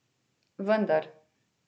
Vendar!